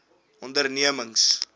ondernemings